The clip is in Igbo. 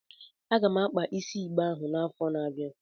M ga-akpa isi igbe ahụ n'afọ na-abịa.